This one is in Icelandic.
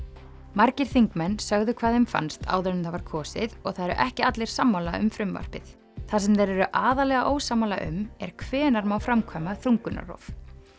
margir þingmenn sögðu hvað þeim fannst áður en það var kosið og það eru ekki allir sammála um frumvarpið það sem þeir eru aðallega ósammála um er hvenær má framkvæma þungunarrof